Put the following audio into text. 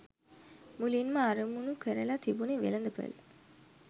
මුලින්ම අරමුණු කරලා තිබුණේ වෙළඳපළ.